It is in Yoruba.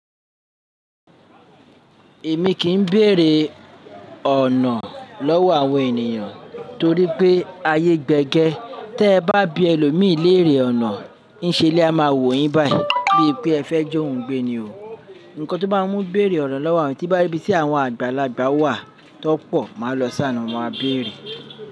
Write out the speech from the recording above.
Èmi kìí béèrè ọ̀nà lọ́wọ́ àwọn ènìyàn torí pé ayé gbé gẹ́. Tẹ bá bí ẹlòmíì léèrè ọ̀nà ń ṣe ni a máa wò yín báyìí, bíi pé ẹ fẹ́ ji óun gbé ni o. Nnkan to bá ń mú béèrè ọ̀nà lọ́wọ́ àwọn eeyan tí n bá ri ibí tí àwọn àgbàlagbà wà tan pọ̀, màá lọ si aarin mo maa béèrè.